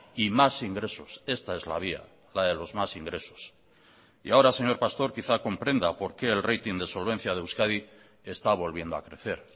y más ingresos esta es la vía la de los más ingresos y ahora señor pastor quizá comprenda por qué el rating de solvencia de euskadi está volviendo a crecer